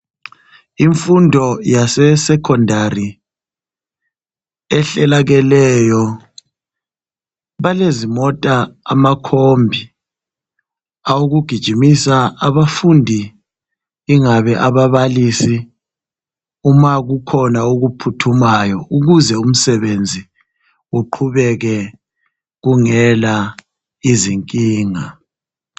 Imfundo yasesecondary ehlelakeleyo balezimota amakombi awokugijimisa abafundi ingabe ababalisi uma kukhona okuphuthumayo ukuze umsebenzi uqhubeke kungela izinkinga